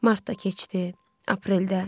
Mart da keçdi, Aprel də.